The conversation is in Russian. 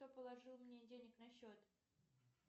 кто положил мне денег на счет